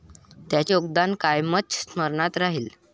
त्यांचे योगदान कायमच स्मरणात राहिल.